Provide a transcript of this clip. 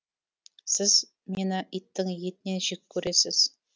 сіз мені иттің етінен жек көресіз